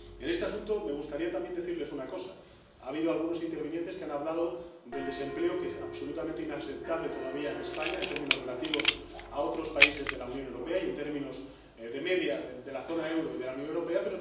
En este asunto, me gustaría también decirles una cosa ha habido algunos intervinientes que han hablado del desempleo, que es absolutamente inaceptable todavía en España, en términos comparativos con otros países de la Unión Europea y en términos de media de la zona euro y de la Unión Europea.